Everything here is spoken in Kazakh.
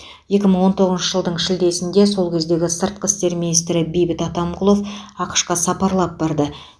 екі мың он тоғызыншы жылдың шілдесінде сол кездегі сыртқы істер министрі бейбіт атамқұлов ақш қа сапарлап барды